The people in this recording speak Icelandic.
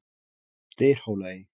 Dyrhólaey